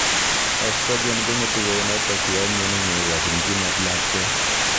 Oestrogen kongetu kounotok yaimnyani neikochin kinet lakwet